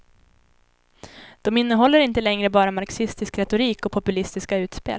De innehåller inte längre bara marxistisk retorik och populistiska utspel.